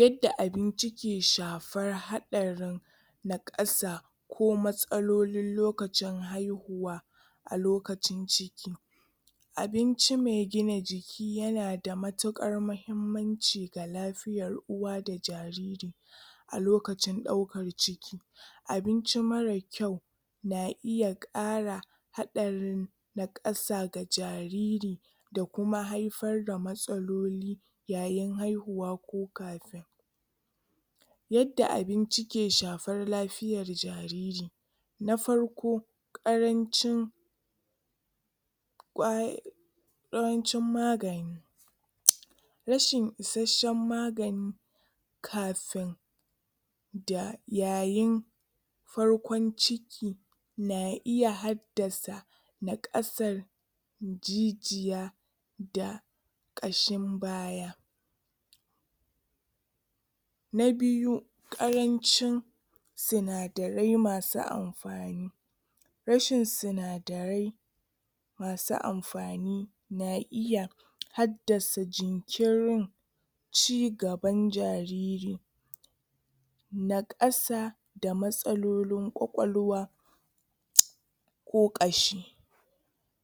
Yadda abinci ke shafar haɗarin naƙasa ko matsalolin lokacin haihuwa a lokacin ciki. Abinci mai gina jiki ya na da matuƙar mahimmanci ga lafiyar uwa da jariri a lokacin ɗaukar ciki. Abinci marar kyau na iya ƙara haɗarin naƙasa ga jariri da kuma hafar da matsaloli yayin haihuwa ko Yadda abinci ke shafar lafiyar jariri; Na farko, ƙarancin ƙwai yawancin maga rashin isasshen magani kafin da yayin farkon ciki na iya haddasa naƙasar jijiya da ƙashin baya. Na biyu, ƙarancin sinadarai masu am rashin sinadarai masu amfani na iya haddasa jinkirin cigaban jarir naƙasa da matsalolin ƙwaƙwalwa ko ƙashi.